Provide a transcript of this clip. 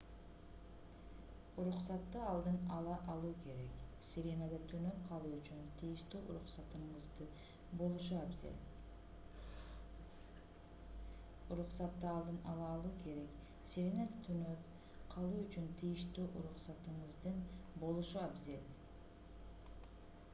уруксатты алдын ала алуу керек сиренада түнөп калуу үчүн тийиштүү уруксатыңыздын болушу абзел